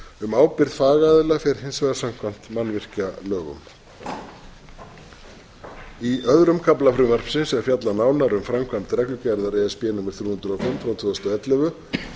um ábyrgð fagaðila fer hins vegar samkvæmt mannvirkjalögum í öðrum kafla frumvarpsins er fjallað nánar um framkvæmd reglugerðar e s b númer þrjú hundruð og fimm tvö þúsund og ellefu